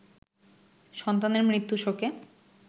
সন্তানের মৃত্যু শোকে